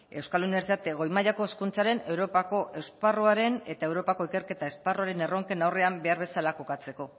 euskal unibertsitate goi mailako hezkuntzaren europako esparruaren eta europako ikerketa esparruaren erronken aurrean behar bezala kokatzeko